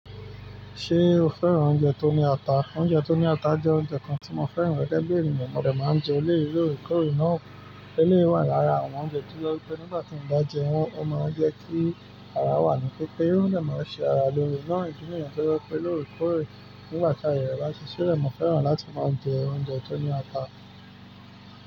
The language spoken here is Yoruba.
Ṣé o fẹ́ran oúnjẹ tó ní ata? Oúnjẹ tó ní ata jẹ́ oúnjẹ kan tí mo fẹ́ran gẹ́gẹ́ bí ènìyàn. Mo dẹ̀ máa ń jẹ eleyii olórókọ̀rọ̀ náà. Eleyi wà lára àwọn oúnjẹ tí ó jẹ pé nígbà tí n bá jẹ wọ́n, ó máa ń jẹ́ kí ara wà ní pípé. Ó dẹ máa n ṣe ara lóore náà idi niyẹn to jẹ pé lóòrèkóòrè nígbà tí aye rẹ bá ṣi silẹ́ mo fẹ́ran láti máa jẹ oúnjẹ tó ní ata.